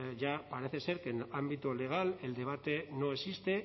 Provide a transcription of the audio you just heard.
ya parece ser que en ámbito legal el debate no existe